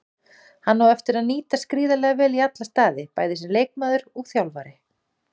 Hann á eftir að nýtast gríðarlega vel í alla staði, bæði sem leikmaður og þjálfari.